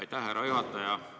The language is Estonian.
Aitäh, härra juhataja!